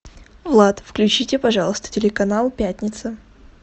влад включите пожалуйста телеканал пятница